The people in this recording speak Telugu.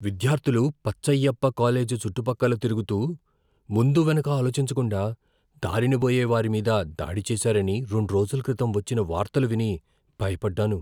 విద్యార్థులు పచ్చయ్యప్ప కాలేజీ చుట్టుపక్కల తిరుగుతూ, ముందు వెనక ఆలోచించకుండా దారినపోయే వారి మీద దాడి చేసారని రెండు రోజుల క్రితం వచ్చిన వార్తలు విని భయపడ్డాను.